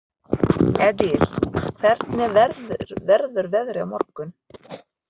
Edil, hvernig verður veðrið á morgun?